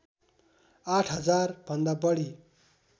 आठ हजार भन्दा बढी